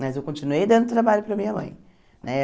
Mas eu continuei dando trabalho para minha mãe eh.